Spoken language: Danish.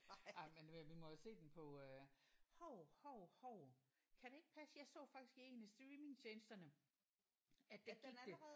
Ej men øh vi må jo se den på øh hov hov hov kan det ikke passe jeg så faktisk en af streamingtjenesterne at der gik det